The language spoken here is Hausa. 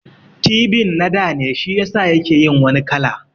Tibin na dane shiyasa yake yin wani kala